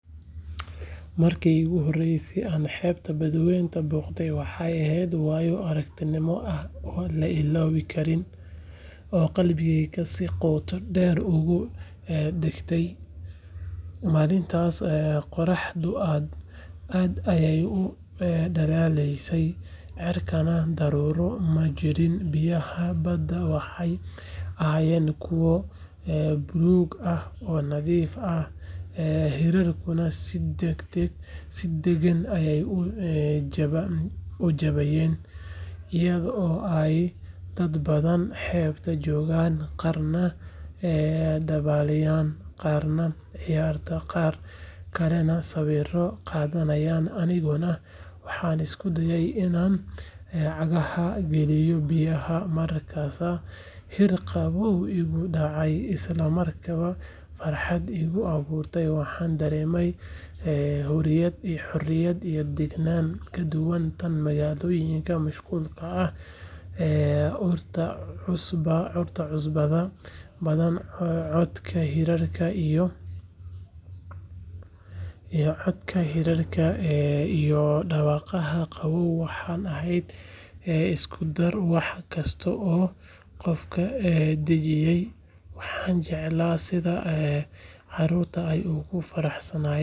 Marki igu horeyse an xebta badwenta boqde waxee ehed wayo aragnimo kuwa la ilowi karin oo qalbigeeyga si qota deer udagte malintas oo qoraxda aad ayey udalaleyse cirkana hogol majirin, iyaga oo dad badan jogan bada kuwa dabal garanayin iyo kuwa aa garaneynin, horta cusbaada badan irarka iyo codka hirarka iskudar wax kasta ee qofka dajiya, waxan jeclay wax kasta ee dadka dajiya.